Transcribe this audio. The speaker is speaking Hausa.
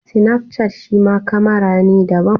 Snapchat shima kamara ne daban.